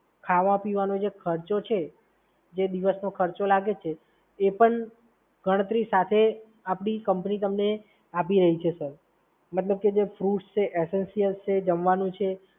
ખાવા-પીવાનો જે ખર્ચો છે, જે દિવસનો ખર્ચો લાગે છે એ પણ ગણતરી સાથે આપણી કંપની તમને આપી રહી છે સર. મતલબ કે જો ફ્રૂટ્સ છે, એસેન્સિયલ્સ છે, જમવાનું છે.